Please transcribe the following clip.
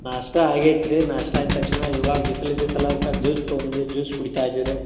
ನಾಸ್ಟಾ ಆಗೇತ್ರೀ ನಾಸ್ಟಾ ಅಂದ ತಕ್ಷಣ ಇವಾಗ ಬಿಸಲ್ ಇದ್ದ ಸಲುವಾಗ juice ತೂಗೋಂಡ್ಬಂದೇವಿ juice ಕುಡಿತಾ ಇದ್ದೇವ್ ರೀ.